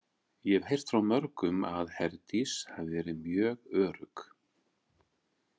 Ég hef heyrt frá mörgum að Herdís hafi verið mjög örugg.